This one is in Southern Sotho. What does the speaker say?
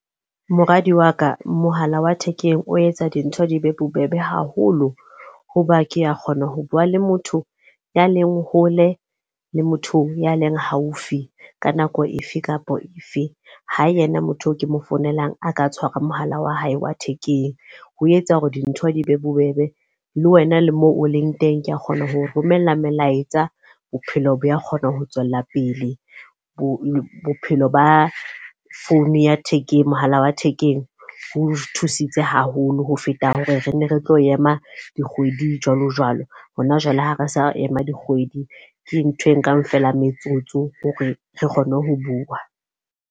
Moradi wa ka, mohala wa thekeng o etsa dintho di be bobebe haholo. Ho ba ke a kgona ho bua le motho a leng hole, le motho a leng haufi ka nako efe kapa efe. Ha yena motho e ke mo founelang a ka tshwara mohala wa hae wa thekeng. Ho etsa dintho di be bobebe. Le wena le moo oleng teng ka kgona hoo romella molaetsa, bophelo bo a kgona ho tswella pele. Bophelo ba founu ya thekeng, mohala wa thekeng, o thusitse haholo ho feta hore re nne retlo ema dikgwedi jwalo jwalo. Ho na jwale ha resa ema dikgwedi ke ntho e nkang fela metsotso hore re kgone ho bua.